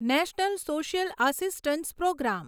national social assistance programme